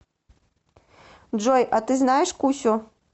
джой а ты знаешь кусю